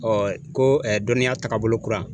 Ɛɛ ko dɔnniya tagabolo kura